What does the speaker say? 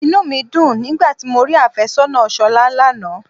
Inú mi dùn nígbà tí mo rí afésónà Ṣolá lánàá.